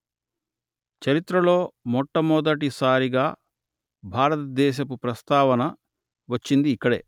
చరిత్రలో మొట్టమొదటి సారిగా భారతదేశపు ప్రస్తావన వచ్చింది ఇక్కడే